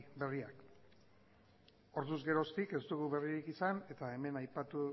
berriak orduz geroztik ez dugu berririk izan eta hemen aipatu